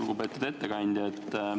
Lugupeetud ettekandja!